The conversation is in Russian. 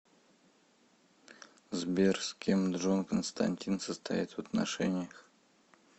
сбер с кем джон константин состоит в отношениях